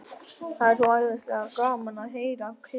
Það er svo æðislega gaman að heyra hvissið.